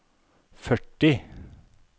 førti